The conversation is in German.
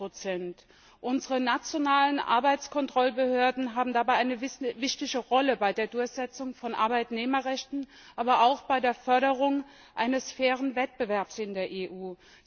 30 Unsere nationalen Arbeitskontrollbehörden haben dabei eine wichtige Rolle bei der Durchsetzung von Arbeitnehmerrechten, aber auch bei der Förderung eines fairen Wettbewerbs in der EU.